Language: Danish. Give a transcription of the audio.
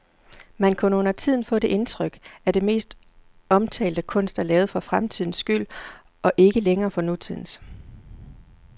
Man kan undertiden få det indtryk, at den mest omtalte kunst er lavet for fremtidens skyld og ikke længere for nutidens.